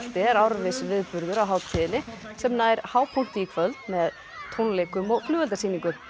er árviss viðburður á hátíðinni sem nær hápunkti í kvöld með tónleikum og flugeldasýningu